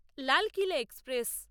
Lalkila express